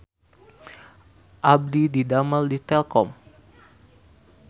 Abdi didamel di Telkom